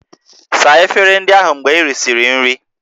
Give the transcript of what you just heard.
Saa efere ndị ahụ mgbe ị risịrị nri!